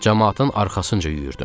Camaatın arxasınca yüyürdüm.